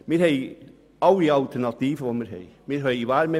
Wir haben alle Alternativen, die wir uns wünschen.